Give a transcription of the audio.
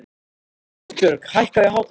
Róbjörg, hækkaðu í hátalaranum.